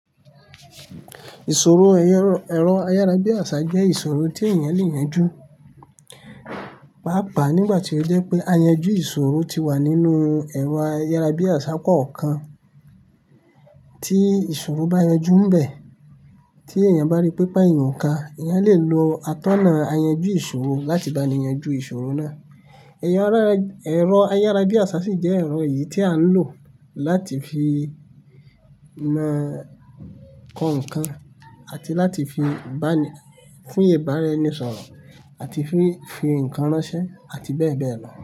Ìṣòro ẹ̀rọ ayárabíàṣá jẹ́ ìṣòro tí èèyàn lè yanjú. Pàápàá nígbà tí ó jẹ́ pé ayanjú ìṣòro ti wà nínú ẹ̀rọ ayárabíàṣá kọ̀ọ̀kan, tí ìṣòro bá yọjú ḿ bẹ̀, tí èèyàn bá rí pé ipá èèyàn ò ká èèyàn lè lo atọ́nà ayanjú ìṣòro láti bá ni yanjú ìṣòro náà. Ẹ̀rọ ayárabíàṣá sì jẹ́ ẹ̀rọ yìí tí a ń lò láti fi na kọ ǹkan àti láti fi fún ìbáraẹnisọ̀rọ̀ àti fi fi ǹkan ránṣẹ́ àti bẹ́ẹ̀ bẹ́ẹ̀ lọ.